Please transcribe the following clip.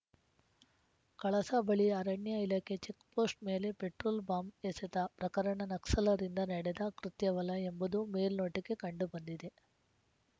ಕಳಸ ಬಳಿ ಅರಣ್ಯ ಇಲಾಖೆ ಚೆಕ್‌ಪೋಸ್ಟ್‌ ಮೇಲೆ ಪೆಟ್ರೋಲ್‌ ಬಾಂಬ್‌ ಎಸೆತ ಪ್ರಕರಣ ನಕ್ಸಲ್‌ರಿಂದ ನಡೆದ ಕೃತ್ಯವಲ ಎಂಬುದು ಮೇಲ್ನೋಟಕ್ಕೆ ಕಂಡುಬಂದಿದೆ